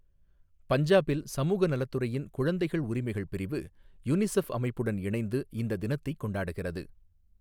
பஞ்சாபில் சமூக நலத்துறையின் குழந்தைகள் உரிமைகள் பிரிவு, யுனிசெஃப் அமைப்புடன் இணைந்து இந்த தினத்தைக் கொண்டாடுகிறது.